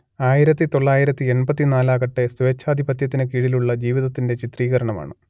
ആയിരത്തിതൊള്ളായിരത്തി എൺപത്തിനാലാകട്ടെ സ്വേച്ഛാധിപത്യത്തിന് കീഴിലുള്ള ജീവിതത്തിന്റെ ചിത്രീകരണമാണ്